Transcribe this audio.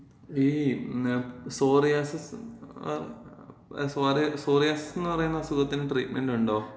ഈ സോറിയാസിസ്, ആ സോറി, സോറിയാസിസെന്ന് പറയുന്ന അസുഖത്തിന് ട്രീറ്റ്മെന്‍റുണ്ടോ?